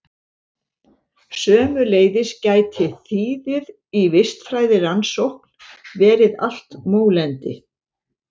Sömuleiðis gæti þýðið í vistfræðirannsókn verið allt mólendi.